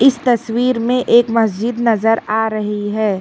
इस तस्वीर में एक मस्जिद नजर आ रही है।